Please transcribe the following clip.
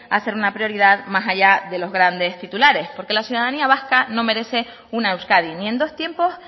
a ser una prioridad más allá de los grandes titulares porque la ciudadanía vasca no merece una euskadi ni en dos tiempos